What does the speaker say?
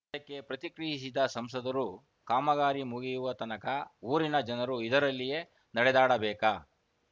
ಇದಕ್ಕೆ ಪ್ರತಿಕ್ರಿಯಿಸಿದ ಸಂಸದರು ಕಾಮಗಾರಿ ಮುಗಿಯುವ ತನಕ ಊರಿನ ಜನರು ಇದರಲ್ಲಿಯೇ ನಡೆದಾಡಬೇಕಾ